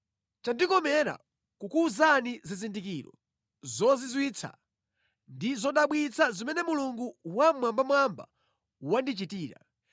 Chandikomera kukuwuzani zizindikiro zozizwitsa ndi zodabwitsa zimene Mulungu Wammwambamwamba wandichitira.